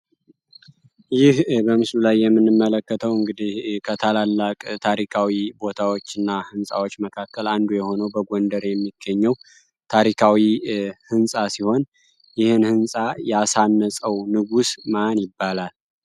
ይህ በምሱሉ ላይ የምንመለከተው እንግዲህ ከታላላቅ ታሪካዊ ቦታዎች እና ሕንፃዎች መካከል አንዱ የሆነው በጐንደር የሚገኘው ታሪካዊ ሕንፃ ሲሆን ይህ ሕንፃ የአሳነፀው ንጉስ ማን ይባላል?